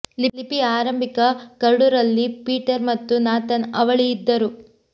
ಲಿಪಿಯ ಆರಂಭಿಕ ಕರಡು ರಲ್ಲಿ ಪೀಟರ್ ಮತ್ತು ನಾಥನ್ ಅವಳಿ ಇದ್ದರು